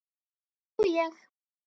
Nú ég.